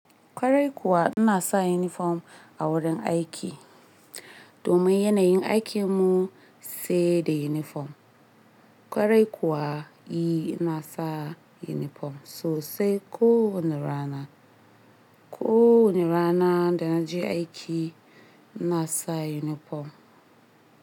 Kwarai kuwa ina sa uniform a wurin aiki domin yanayin aikinmu sai da uniform. Kwarai kuwa eh ina sa uniform sosai. Ko wane rana, ko wane rana da na je aiki ina sa uniform.